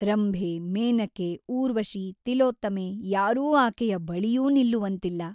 ರಂಭೆ ಮೇನಕೆ ಊರ್ವಶಿ ತಿಲೋತ್ತಮೆ ಯಾರೂ ಆಕೆಯ ಬಳಿಯೂ ನಿಲ್ಲುವಂತಿಲ್ಲ.